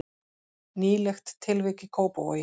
Nýlegt tilvik í Kópavogi